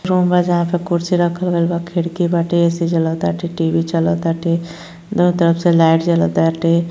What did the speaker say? Room में जहां पर कुर्सी रखल बा खिड़की बाटे ऐ_सी चलता टी_वी चलताटे । दुनू तरफ से लाइट जलाताटे।